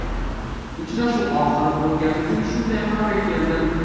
Uchrashuv oxiri bo‘lgani uchun shunday qarorga keldim.